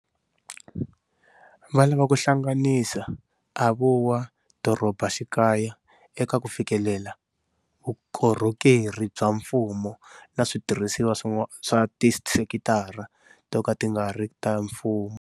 Va lava ku hlanganisa a vo wa dorobaxikaya eka ku fikelela vukorhokeri bya mfumo na switirhisiwa swa tisekitara to ka ti nga ri ta mfumo.